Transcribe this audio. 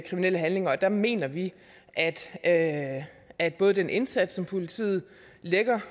kriminelle handlinger der mener vi at at både den indsats som politiet lægger